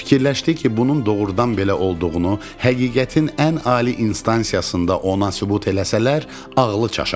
Fikirləşdi ki, bunun doğrudan belə olduğunu, həqiqətin ən ali instansiyasında ona sübut eləsələr, ağlı çaşar.